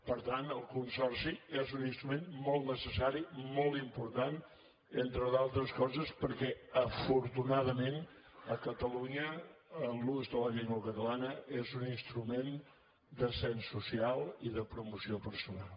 per tant el consorci és un instrument molt necessari molt important entre d’altres coses perquè afortunadament a catalunya l’ús de la llengua catalana és un instrument d’ascens social i de promoció personal